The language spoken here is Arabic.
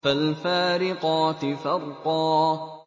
فَالْفَارِقَاتِ فَرْقًا